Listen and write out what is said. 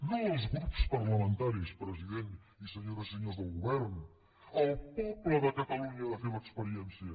no els grups parlamentaris president i senyores i senyors del govern el poble de catalunya ha de fer l’experiència